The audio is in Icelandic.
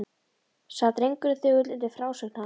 Sat drengurinn þögull undir frásögn hans.